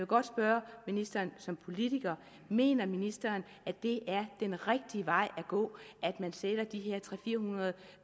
godt spørge ministeren som politiker mener ministeren at det den rigtige vej at gå at man sætter de her tre hundrede